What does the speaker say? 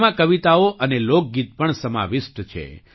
તેમાં કવિતાઓ અને લોકગીત પણ સમાવિષ્ટ છે